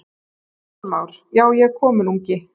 Kristján Már: Já, er kominn ungi?